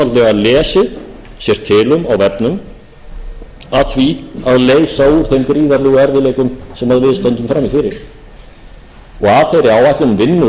einfaldlega lesið sér til um á vefnum að því að leysa úr þeim gríðarlegu erfiðleikum sem við stöndum frammi fyrir og að þeirri áætlun vinnur